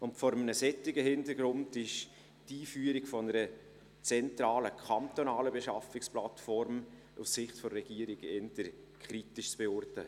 Und vor einem solchen Hintergrund ist die Einführung einer zentralen kantonalen Beschaffungsplattform aus Sicht der Regierung eher kritisch zu beurteilen.